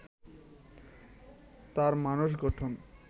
তার মানস গঠন